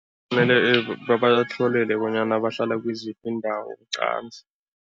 Mele babatlolele bahlala kiziphi iindawo qanzi.